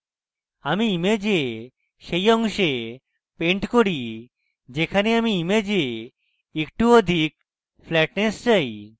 আমি image সেই অংশে paint করি যেখানে আমি image একটু অধিক flatness চাই